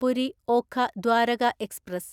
Puri Okha Dwarka express